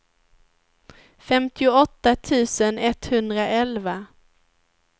femtioåtta tusen etthundraelva